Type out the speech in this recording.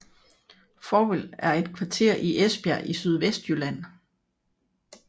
Fovrfeld er et kvarter i Esbjerg i Sydvestjylland